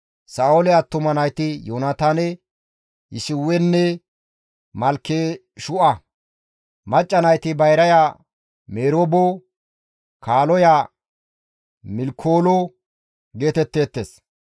Sa7oole attuma nayti Yoonataane, Yishiwenne Malkeshu7a; macca nayti bayraya Meroobo, kaaloya Milkoolo geetetteettes.